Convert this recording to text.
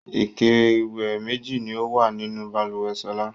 Ike-ìwẹ̀ méjì ni ó wà nínú balùwẹ̀ Ṣọlá.